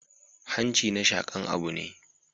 Hanci na shaƙan abu ne